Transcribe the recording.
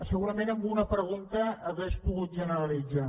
segurament amb una pregunta ho hauria pogut generalitzar